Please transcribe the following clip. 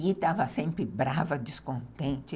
E estava sempre brava, descontente.